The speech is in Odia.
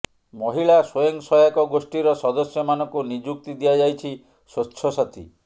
ମହିଳା ସ୍ୱୟଂ ସହାୟକ ଗୋଷ୍ଠୀର ସଦସ୍ୟ ମାନଙ୍କୁ ନିଯୁକ୍ତି ଦିଆଯାଇଛି ସ୍ୱଚ୍ଛ ସାଥୀ